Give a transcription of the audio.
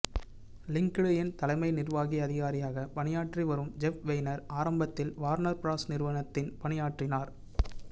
linked இன் தலைமை நிர்வாக அதிகாரியாக பணியாற்றி வரும் ஜெஃப் வெய்னர் ஆரம்பத்தில் வார்னர் ப்ராஸ் நிறுவனத்தில் பணியாற்றினார்